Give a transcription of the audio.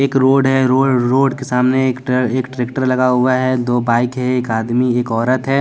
एक रोड है रो रोड के सामने एक ट्रैक्टर लगा हुआ है दो बाइक है एक आदमी एक औरत है।